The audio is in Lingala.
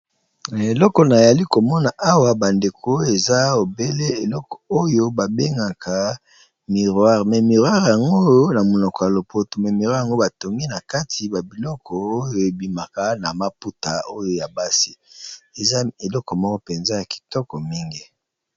Eleko na yali ko mona awa ba ndeko eza obele eloko oyo ba bengaka miroire mais miroire yango na monoko ya lopoto, mais mirore yango batongi na kati ba biloko oyo e bimaka na maputa oyo ya basi, eza eloko moko penza ya kitoko mingi .